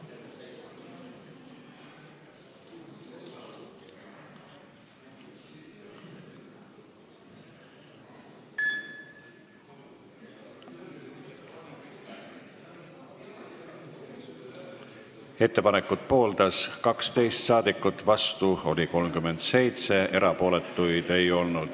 Hääletustulemused Ettepanekut pooldas 12 saadikut, vastu oli 37, erapooletuid ei olnud.